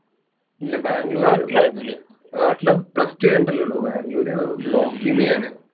ഇല്ല ബാംഗ്ലൂർ നാട്ടില് plus two കഴിഞ്ഞിട്ടല്ലേ ഉള്ളൂ, ബാംഗ്ലൂർ നോക്കിയിരുന്നു ഞാൻ.